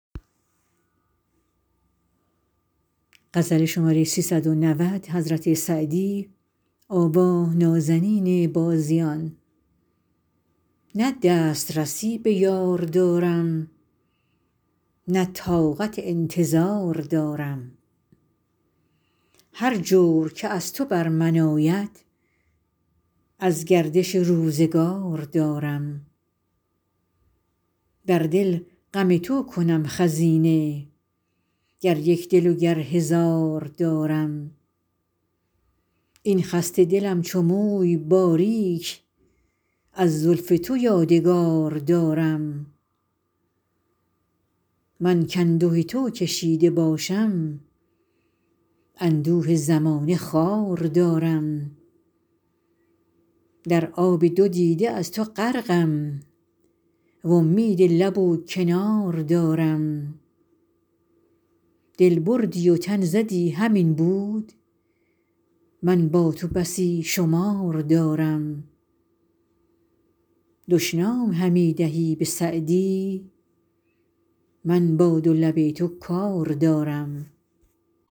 نه دست رسی به یار دارم نه طاقت انتظار دارم هر جور که از تو بر من آید از گردش روزگار دارم در دل غم تو کنم خزینه گر یک دل و گر هزار دارم این خسته دلم چو موی باریک از زلف تو یادگار دارم من کانده تو کشیده باشم اندوه زمانه خوار دارم در آب دو دیده از تو غرقم وامید لب و کنار دارم دل بردی و تن زدی همین بود من با تو بسی شمار دارم دشنام همی دهی به سعدی من با دو لب تو کار دارم